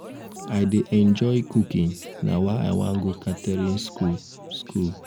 i dey enjoy cooking na why i wan go catering school school